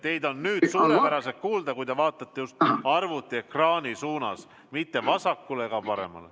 Teid on nüüd suurepäraselt kuulda, kui te vaatate arvutiekraani poole, mitte vasakule ega paremale.